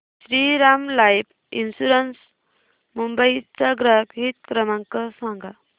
Shriram life insurance Mumbai चा ग्राहक हित क्रमांक सांगा